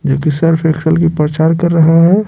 जो कि Surf Excel की प्रचार कर रहे हैं।